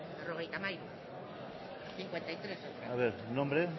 berrogeita hamairu a ver nombre